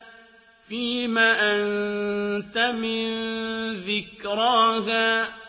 فِيمَ أَنتَ مِن ذِكْرَاهَا